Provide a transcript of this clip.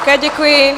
Také děkuji.